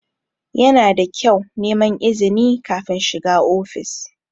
Yana da kyau neman izini kafin shiga ofis.